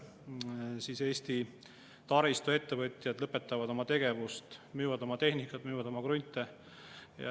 Me juba teame, kuidas suured Eesti taristuettevõtjad lõpetavad oma tegevust, müüvad oma tehnikat, müüvad oma krunte.